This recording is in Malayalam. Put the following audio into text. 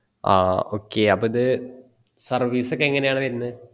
ഹാ okay അപ്പൊ ഇത് service ഒക്കെ എങ്ങനെയാണ് വരുന്ന്